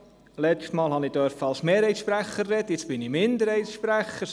Letztes Mal durfte ich als Mehrheitssprecher reden, jetzt bin ich Minderheitssprecher.